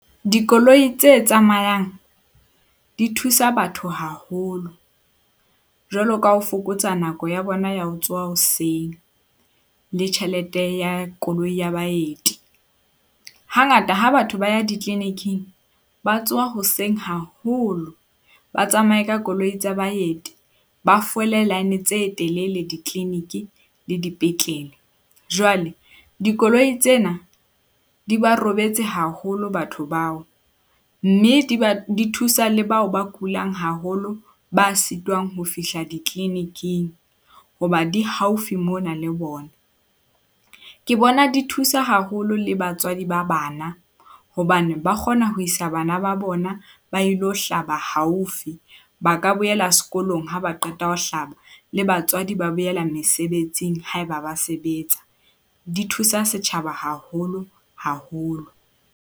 Dikoloi tse tsamayang di thusa batho haholo, jwalo ka ha ho fokotsa nako ya bona ya ho tsoha hoseng le tjhelete ya koloi ya baeti. Hangata ha batho ba ya di-clinic-ing ba tsoha hoseng haholo, ba tsamaye ka koloi tsa baeti. Ba fole line tse telele di-clinic le di petlele. Jwale dikoloi tsena di ba robetse haholo batho bao. Mme di ba di thusa le bao ba kulang haholo ba sitwang ho fihla di-clinic-ng. Hoba di haufi mona le bona. Ke bona di thusa haholo le batswadi ba bana hobane ba kgona ho isa bana ba bona ba ilo hlaba haufi. Ba ka boela sekolong ha ba qeta ho hlaba le batswadi ba boela mesebetsing haeba ba sebetsa. Di thusa setjhaba haholo haholo.